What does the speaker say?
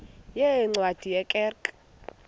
yeencwadi ye kerk